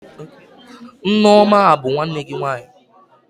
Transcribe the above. Nneoma a bụ nwanne gị nwaanyị?